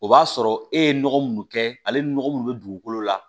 O b'a sɔrɔ e ye nɔgɔ mun kɛ ale ni nɔgɔ munnu be dugukolo la